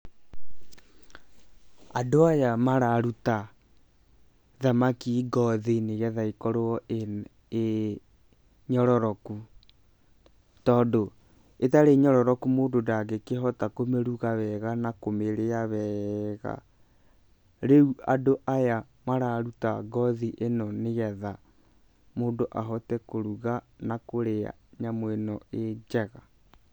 Andũ aya mararuta thamaki ngothi, nĩgetha ĩkorwo ĩ nyororoku, tondũ ĩtarĩ nyororoku mũndũ ndangĩkĩhota kũmĩruga wega na kũmĩrĩa wega. Rĩu andũ aya mararuta ngothi ĩno, nĩgetha mũndũ ahote kũruga na kũrĩa nyamũ ĩno ĩ njega.